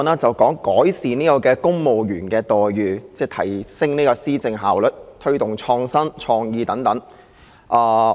主席，今天討論的議案是"改善公務員待遇，提升施政效率及推動創意與創新"。